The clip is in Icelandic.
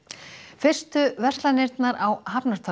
fyrstu verslanirnar á